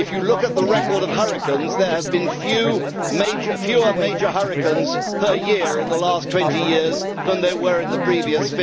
If you look at the record of hurricanes, there have been fewer major hurricanes per year in the last 20 years than there were in the previous